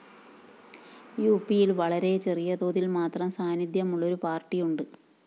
യുപിയില്‍ വളരെ ചെറിയ തോതില്‍ മാത്രം സാന്നിധ്യമുള്ളൊരു പാര്‍ട്ടിയുണ്ട്